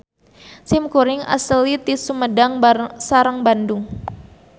Sim kuring aseli ti Sumedang sareng Bandung.